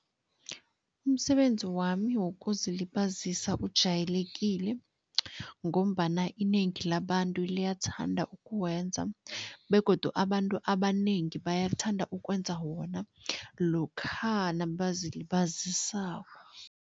Umsebenzi wami wokuzilibazisa ujayelekile ngombana inengi labantu liyathanda ukuwenza begodu abantu abanengi bayathanda ukwenza wona lokha nabazilibazisako.